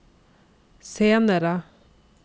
senere